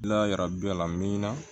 N'a y'a yira bɛɛ la mi na